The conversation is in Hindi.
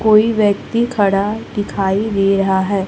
कोई व्यक्ति खड़ा दिखाई दे रहा है।